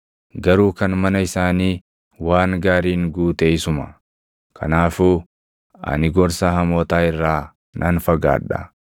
Garuu kan mana isaanii waan gaariin guute isuma; kanaafuu ani gorsa hamootaa irraa nan fagaadha.